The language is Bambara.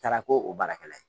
Taara ko o baarakɛla ye